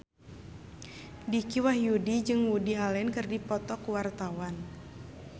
Dicky Wahyudi jeung Woody Allen keur dipoto ku wartawan